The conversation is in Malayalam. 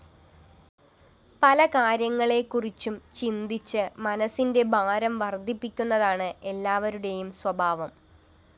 പല കാര്യങ്ങളെക്കുറിച്ചും ചിന്തിച്ച് മനസ്സിന്റെ ഭാരം വര്‍ധിപ്പിക്കുന്നതാണ് എല്ലവരുടെയും സ്വഭാവം